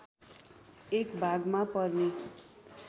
एक भागमा पर्ने